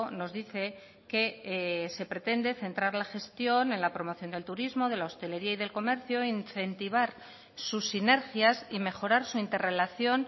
nos dice que se pretende centrar la gestión en la promoción del turismo de la hostelería y del comercio incentivar sus sinergias y mejorar su interrelación